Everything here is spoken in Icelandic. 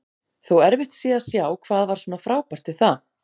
Þó erfitt sé að sjá hvað var svona frábært við það.